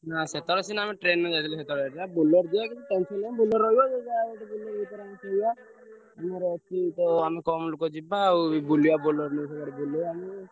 ହଁ ସେଥର ସିନା ଆମେ train ରେ ଯାଇଥିଲେ ସେଥର ହେଇଥିଲା Bolero ଯିବା କିଛି tension ନାହିଁ Bolero ରହିବ ଆମେ ସେଠି ବୁଲି ଆମର ତ ଆମେ କମ୍ ଲୋକ ଯିବା ଆଉ ବୁଲିବା Bolero ନେଇ ସବୁଆଡେ ବୁଲିବା ଆମେ।